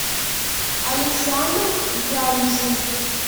александр янзин